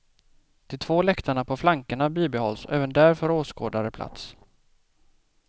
De två läktarna på flankerna bibehålls och även där får åskådare plats.